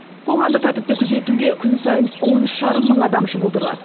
қоғамдық тәртіпті күзетуге күн сайын он үш жарым мың адам жұмылдырылады